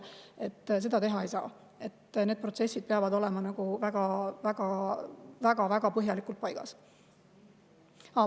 Seda ei saa teha, vaid need protsessid peavad olema väga-väga põhjalikult paigas.